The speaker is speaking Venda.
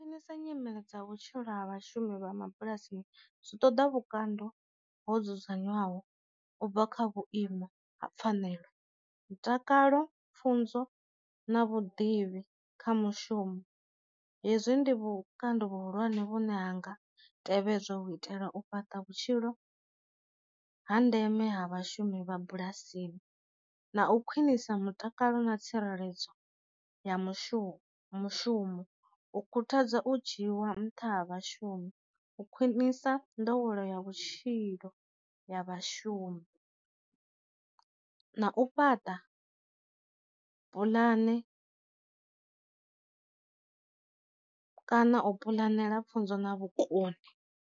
Nisa nyimele dza vhutshilo ha vhashumi vha mabulasini zwi ṱoḓa vhukando ho dzudzanywaho u bva kha vhuima ha pfanelo mutakalo, pfunzo na vhuḓivhi kha mushumo, hezwi ndi vhukando vhu hulwane vhune hanga tevhedza u itela u fhaṱa vhutshilo ha ndeme ha vhashumi vha bulasini na u khwinisa mutakalo na tsireledzo ya mushumo mushumo, u khuthadza u dzhiwa nṱha ha vhashumi, u khwinisa nḓowelo ya vhutshilo ya vhashumi, na u fhaṱa pulane kana u puḽanela pfunzo na vhukoni.